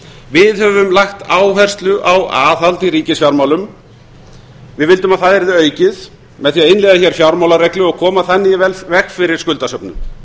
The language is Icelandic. við höfum lagt áherslu á aðhald í ríkisfjármálum við vildum að það yrði aukið með því að innleiða fjármálareglu og koma þannig í veg fyrir skuldasöfnun